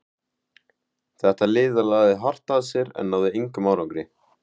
Þetta lið lagði hart að sér en náði engum árangri.